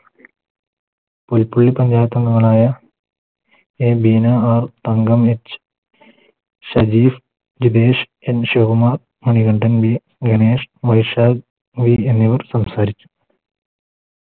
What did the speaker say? പുൽ കുഴിൽ പഞ്ചായത്തങ്കങ്ങളായ A Veena R Thankam H Sharif Jinesh N Sukumar Manikandan V Ganesh Vaishakh Murali എന്നിവർ സംസാരിച്ചു